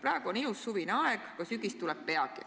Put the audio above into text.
Praegu on ilus suvine aeg, aga sügis tuleb peagi.